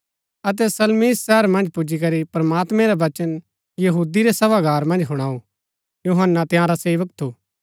अतै सलमीस शहर मन्ज पुजीकरी प्रमात्मैं रा वचन यहूदी रै सभागार मन्ज हुणाऊ यूहन्‍ना तंयारा सेवक थु